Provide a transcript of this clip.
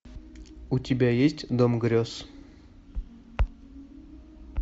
у тебя есть дом грез